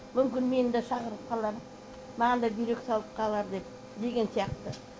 мүмкін мені де шақырып қалар маған да бүйрек табылып қалар деп деген сияқты